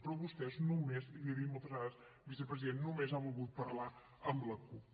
però vostès només i l’hi he dit moltes vegades vicepresident només han volgut parlar amb la cup